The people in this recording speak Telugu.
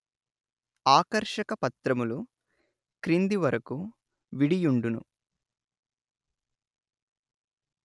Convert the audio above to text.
ఆకర్షక పత్రములు క్రిందివరకు విడియుండును